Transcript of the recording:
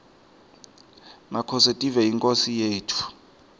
makhosetive yinkhosi yetfu